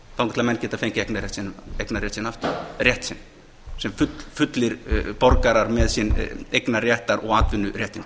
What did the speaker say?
þangað til menn geta fengið eignarrétt sinn aftur rétt sinn sem borgarar með sinn eignarréttar og atvinnuréttindi